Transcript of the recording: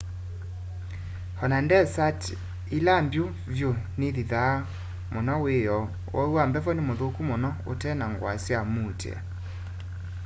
ona ndesati ila mbyu vyu nithithaa muno wiyoo uwau wa mbevo ni muthuku muno utena ngua sya muutia